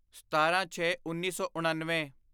ਸਤਾਰਾਂਛੇਉੱਨੀ ਸੌ ਉਣਨਵੇਂ